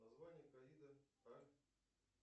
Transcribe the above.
название ковида